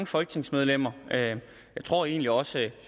folketingsmedlemmer jeg tror egentlig også at